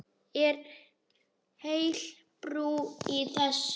Er heil brú í þessu?